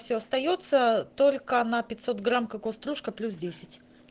всё остаётся только на пятьсот грамм кокос стружка плюс десять